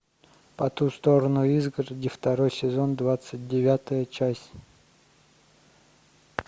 по ту сторону изгороди второй сезон двадцать девятая часть